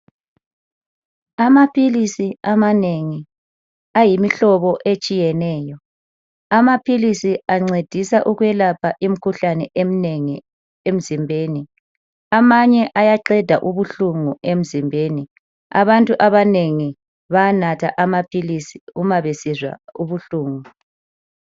Amaphilisi amanengi ayimihlobo etshiyeneyo. Amaphilisi ancedisa ukwelapha imikhuhlane eminengi emzimbeni. Amanye ayaqeda ubuhlungu emzimbeni. Abantu abanengi bayanatha Amaphilisi umabesizwa ubuhlungu.